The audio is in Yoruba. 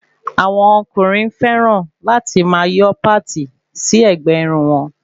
Àwọn ọkùnrin fẹràn láti máa yọ páti sí ẹ̀gbẹ́ Irun wọn